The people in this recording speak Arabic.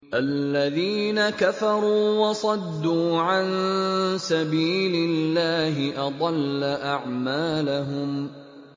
الَّذِينَ كَفَرُوا وَصَدُّوا عَن سَبِيلِ اللَّهِ أَضَلَّ أَعْمَالَهُمْ